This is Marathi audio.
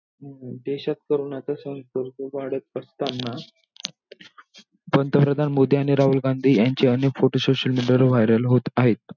देशात corona चा संसर्ग वाढत असतांना, पंतप्रधान मोदी आणि राहुल गांधी यांचे अनेक photosocial media वर viral होत आहेत.